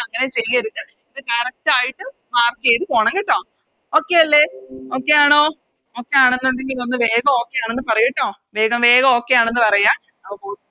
അങ്ങനെ ചെയ്യരുത് ഇത് Correct ആയിട്ട് Mark ചെയ്ത പോണം കേട്ടോ Okay അല്ലെ Okay ആണോ Okay ആണെങ്കി നിങ്ങള് വേഗം Okay ആണെന്ന് പറയ് ട്ടോ വേഗം വേഗം Okay ആണെന്ന് പറയാ